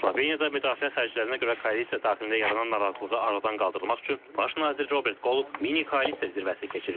Sloveniyada müdafiə xərclərinə görə koalisiya daxilində yaranan narazılığı aradan qaldırmaq üçün Baş nazir Robert Qollop mini koalisiya zirvəsi keçirib.